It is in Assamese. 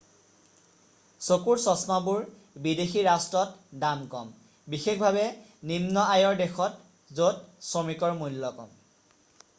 চকুৰ চশমাবোৰ বিদেশী ৰাষ্ট্ৰত দাম কম বিশেষভাৱে নিন্ম আয়ৰ দেশত য'ত শ্ৰমিকৰ মূল্য কম